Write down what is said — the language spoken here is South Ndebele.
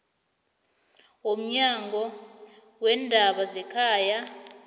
womnyango weendaba zekhaya